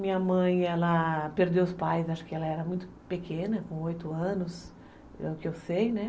Minha mãe, ela perdeu os pais, acho que ela era muito pequena, com oito anos, é o que eu sei, né?